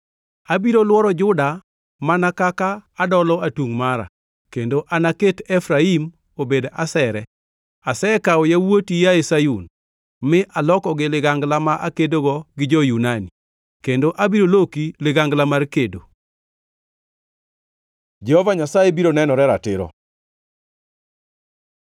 Abiro lworo Juda mana kaka adolo atungʼ mara, kendo anaket Efraim obed asere. Asekawo yawuoti, yaye Sayun, ma alokogi ligangla ma akedogo gi jo-Yunani, kendo abiro loki ligangla mar kedo. Jehova Nyasaye biro nenore ratiro